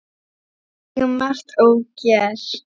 Við eigum margt ógert.